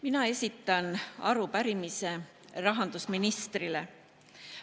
Mina esitan arupärimise rahandusministrile.